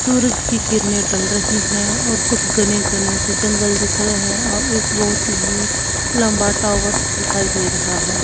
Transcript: सूरज की किरणें ढल रही हैं और कुछ घने घने से जंगल दिख रहे हैं और एक बहुत ही लंबा टावर दिखाई दे रहा है।